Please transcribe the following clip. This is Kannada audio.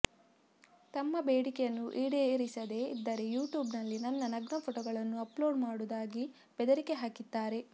ತಮ್ಮ ಬೇಡಿಕೆಯನ್ನು ಈಡೇರಿಸದೇ ಇದ್ದರೆ ಯೂಟ್ಯೂಬ್ನಲ್ಲಿ ನನ್ನ ನಗ್ನ ಫೋಟೋಗಳನ್ನು ಅಪ್ಲೋಡ್ ಮಾಡುವುದಾಗಿ ಬೆದರಿಕೆ ಹಾಕಿದ್ದಾರೆ